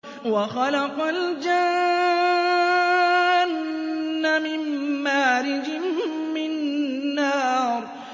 وَخَلَقَ الْجَانَّ مِن مَّارِجٍ مِّن نَّارٍ